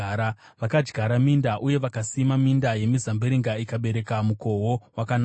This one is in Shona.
Vakadyara minda, uye vakasima minda yemizambiringa, ikabereka mukohwo wakanaka;